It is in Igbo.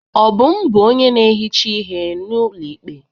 Obum bụ onye na-ehicha ihe n'ụlọ ikpe.